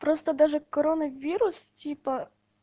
просто даже короновирус типа